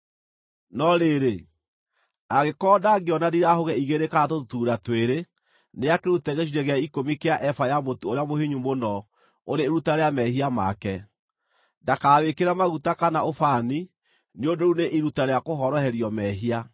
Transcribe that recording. “ ‘No rĩrĩ, angĩkorwo ndangĩona ndirahũgĩ igĩrĩ kana tũtutuura twĩrĩ, nĩakĩrute gĩcunjĩ gĩa ikũmi kĩa eba ya mũtu ũrĩa mũhinyu mũno ũrĩ iruta rĩa mehia make. Ndakawĩkĩre maguta kana ũbani, nĩ ũndũ rĩu nĩ iruta rĩa kũhoroherio mehia.